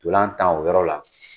Ntolan tan o yɔrɔ la